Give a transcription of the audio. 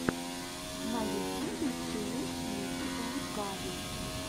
на ютюбе челлендж ники энд габи